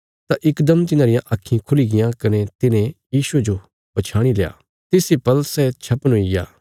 तां इकदम तिन्हांरियां आक्खीं खुली गियां कने तिन्हे यीशुये जो पछयाणील्या तिस इ पल सै छपन हुईग्या